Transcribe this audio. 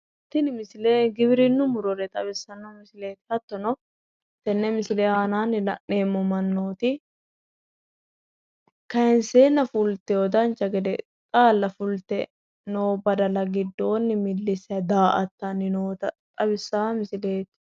Tini misile giwirinnu murore xawissanno misileeti. Hattono tenne misile aanaanni la'neemmo mannooti kayinseenna fultiwo dancha gede xaalla fulte noo badala giddonni millissayi daa"attanni noota xawissawo misileeti.